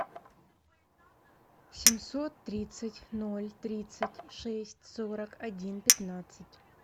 семьсот тридцать ноль тридцать шесть сорок один пятнадцать